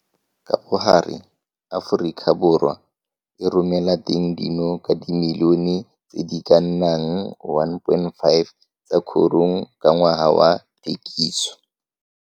Ka bogare Afrikaborwa e romelateng ditono ka dimilione tse di ka nnang 1,5 tsa korong ka ngwaga wa thekiso.